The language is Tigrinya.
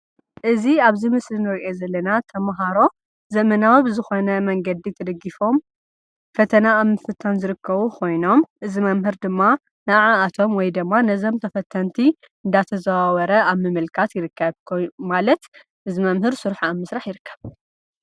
እዚ ኣብዚ ምስሊ ንሪኦ ዘለና ተምሃሮ ዘመናዊ ብዝኾነ መንገዲ ተደጊፎም ፈተና እንትፍተኑ ዝርከቡ ኮይኖም እዚ መምህር ድማ ንዓኣቶም ወይ ድማ ነዞም ተፈተንቲ እንዳተዛዋወረ ኣብ ምምልካት ይርከብ፡፡ ማለት እዚ መምህር ስርሑ ኣብ ምስራሕ ይርከብ፡፡